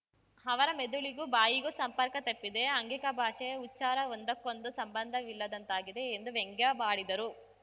ಅವರ ಮೆದುಳಿಗೂ ಬಾಯಿಗೂ ಸಂಪರ್ಕ ತಪ್ಪಿದೆ ಆಂಗಿಕ ಭಾಷೆ ಉಚ್ಚಾರ ಒಂದಕ್ಕೊಂದು ಸಂಬಂಧವಿಲ್ಲದಂತಾಗಿದೆ ಎಂದು ವ್ಯಂಗ್ಯವಾಡಿದರು